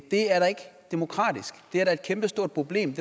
det er da ikke demokratisk det er da et kæmpestort problem